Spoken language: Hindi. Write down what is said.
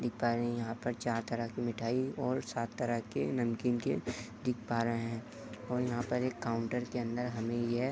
यहां पर चार तरह के मिठाई और सात तरह के नमकीन के दिख पा रहे हैं और यहां पर एक काउंटर के अंदर हमे यह --